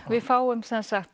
við fáum